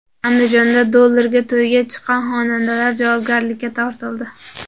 Andijonda dollarga to‘yga chiqqan xonandalar javobgarlikka tortildi.